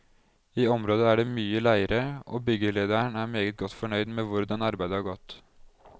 I området er det mye leire, og byggelederen er meget godt fornøyd med hvordan arbeidet har gått.